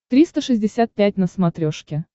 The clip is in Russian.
триста шестьдесят пять на смотрешке